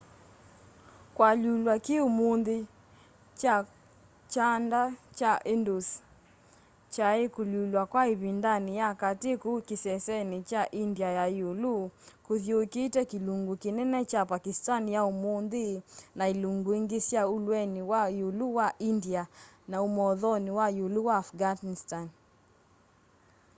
kualyulwa ki umunthi kwa kyanda kya indus kwai kualyulwa kwa ivindani ya kati kuu kiseseni kya india ya iulu kuthyuukite kilungu kinene kya pakistani ya umunthi na ilungu ingi sya ulweni wa iulu wa india na umothoni wa iulu wa afghanistan